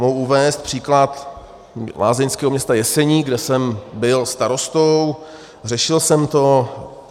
Mohu uvést příklad lázeňského města Jeseník, kde jsem byl starostou, řešil jsem to.